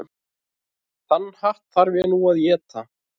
Þann hatt þarf ég nú að éta.